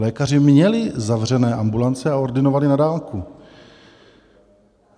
Lékaři měli zavřené ambulance a ordinovali na dálku.